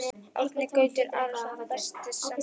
Árni Gautur Arason Besti samherjinn?